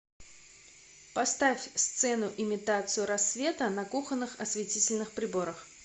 поставь сцену имитацию рассвета на кухонных осветительных приборах